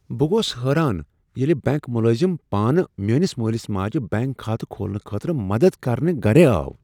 بہ گوس حٲران ییٚلہ بنٛک ملٲزم پانہٕ میٲنس مٲلس ماجہ بنٛک کھاتہٕ کھولنہٕ خٲطرٕ مدد کرنہ گرے آو۔